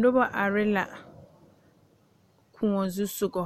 Noba are la Kóɔ zusogɔ